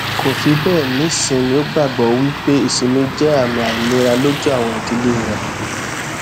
kò fi bẹẹ ní ìsinmi ó gbàgbọ wí pé ìsinmi jẹ àmì àìlera lójú àwọn ìdílé rẹ